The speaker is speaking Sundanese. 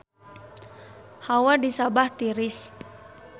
Hawa di Sabah tiris